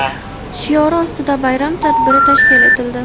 shiori ostida bayram tadbiri tashkil etildi.